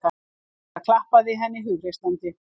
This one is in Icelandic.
Inga klappaði henni hughreystandi.